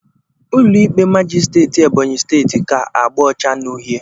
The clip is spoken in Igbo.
Ụlọ ikpe majisteetị Ebonyi steeti ka agba ọcha na uhie.